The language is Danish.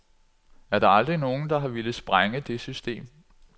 Er der aldrig nogen, der har villet sprænge det system?